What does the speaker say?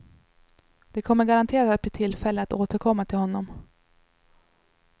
Det kommer garanterat att bli tillfälle att återkomma till honom.